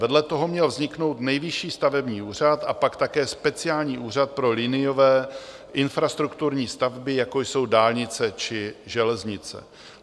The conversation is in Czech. Vedle toho měl vzniknout Nejvyšší stavební úřad a pak také speciální úřad pro liniové infrastrukturní stavby jako jsou dálnice či železnice.